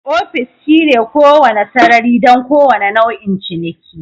Ofis shine kowane sarari don kowane nau'in ciniki